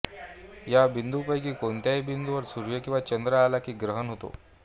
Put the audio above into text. या बिंदूंपैकी कोणत्याही बिंदूवर सूर्य किंवा चंद्र आला की ग्रहण होते